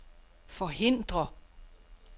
forhindre